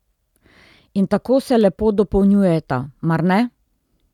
In tako se lepo dopolnjujeta, mar ne?